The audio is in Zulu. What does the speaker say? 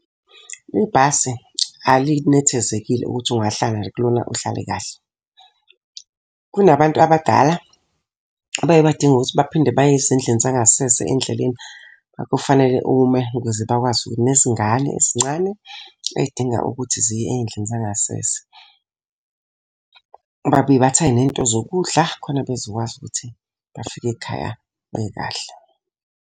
Ibhasi, alinethezekile ukuthi ungahlala nje kulona uhlale kahle. Kunabantu abadala, abaye badinge ukuthi baphinde baye ezindlini zangasese endleleni. Kufanele ume ukuze bakwazi ukuthi nezingane ezincane ey'dinga ukuthi ziye ey'ndlini zangasese. Babuye bathenge ney'nto zokudla khona bezokwazi ukuthi bafike ekhaya bekahle.